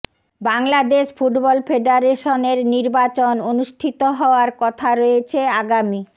Bangladesh football ফেডারেশনের নির্বাচন অনুষ্ঠিত হওয়ার কথা রয়েছে আগামী